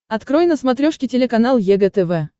открой на смотрешке телеканал егэ тв